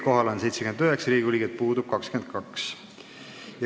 Kohal on 79 Riigikogu liiget, puudub 22.